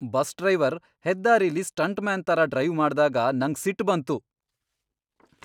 Bus driver ಹೆದ್ದಾರಿಲಿ stuntman ತರ drive ಮಾಡ್ದಾಗ ನಂಗ್ ಸಿಟ್ ಬಂತು.